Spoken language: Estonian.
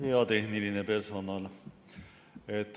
Hea tehniline personal!